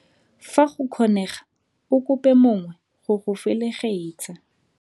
Fa go kgonega, o kope mongwe go go felegetsa.